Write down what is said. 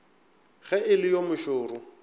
ge e le yo mošoro